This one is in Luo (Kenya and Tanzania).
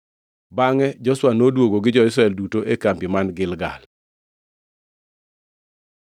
Bangʼe Joshua noduogo gi jo-Israel duto e kambi man Gilgal.